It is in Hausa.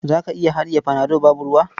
Za ka iya haɗiye panado babu ruwa?